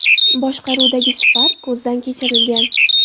boshqaruvidagi Spark ko‘zdan kechirilgan.